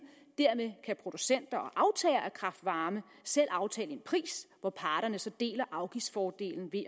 dermed kan producenter og kraft varme selv aftale en pris hvor parterne så deler afgiftsfordelen i